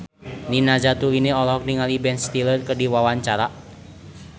Nina Zatulini olohok ningali Ben Stiller keur diwawancara